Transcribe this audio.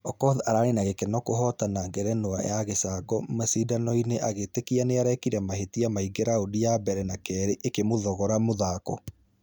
Okoth ararĩ na gĩkeno kũhotana ngerenwa ya gĩcangomashidano-inĩ agĩĩtĩkia nĩarekire mahetia mainge raundi ya mbere na kerĩ ĩkĩmũthogora mũthako.